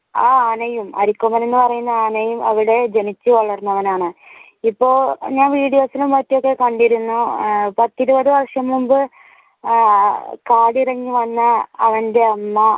ആ ആനയും അരിക്കൊമ്പൻ എന്ന് പറയുന്ന ആനയും അവിടെ ജനിച്ചു വളർന്നവനാണ് ഇപ്പോൾ ഞാൻ വിഡിയോസിലും മറ്റും ഒക്കെ കണ്ടിരുന്നു. ആഹ് പത്തു ഇരുപതു വർഷം മുൻപ് ആഹ് കാടിറങ്ങി വന്ന അവന്റെ അമ്മ